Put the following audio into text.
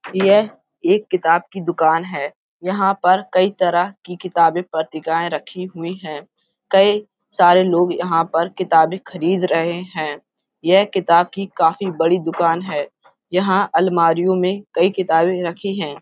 यह एक किताब की दुकान है। यहां पर कई तरह की किताबें पत्रिकाएं रखी हुई है। कई सारे लोग यहां पर किताबें खरीद रहे है। यह किताब की काफी बड़ी दुकान है। यहाँ अलमारियो में कई किताबे रखी हैं।